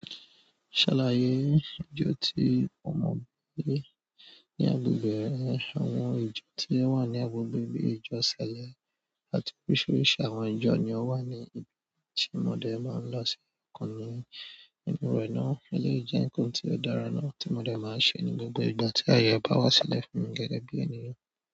Ṣàlàyé ìdí tí ọmọ gbé ní agbègbè re àwọn ìjọ tí ó wà ní agbègbè bíi ìjọsìn ni àti oríṣiríṣi àwọn ìjọ ni ó wà ní ibi tí mọdé máa ń lọ sí ikan nínú rẹ̀ náà. Elèyi jẹ́ nǹkan tí ó dára náà tí mọdé máa ń ṣe ní gbogbo ìgbà tí aye bá wá sílẹ̀ fún mi gẹ́gẹ́ bí ènìyàn.